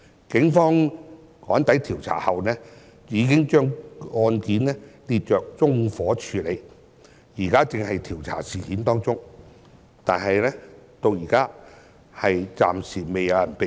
警方趕抵調查後，已經把案件列作縱火處理，現時正在調查事件，但至今未有人被捕。